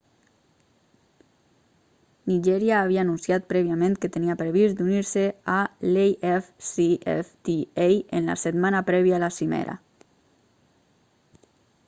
nigèria havia anunciat prèviament que tenia previst d'unir-se a l'afcfta en la setmana prèvia a la cimera